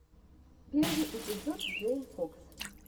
первый эпизод джейн фокс